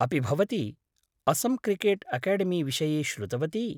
अपि भवती असम क्रिकेट् अकेडेमीविषये श्रुतवती।